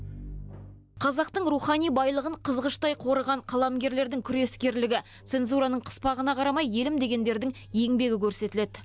қазақтың рухани байлығын қызғыштай қорыған қаламгерлердің күрескерлігі цензураның қыспағына қарамай елім дегендердің еңбегі көрсетіледі